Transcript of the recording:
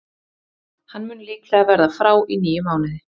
Hann mun líklega verða frá í níu mánuði.